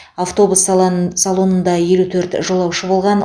автобус салан салонында елу төрт жолаушы болған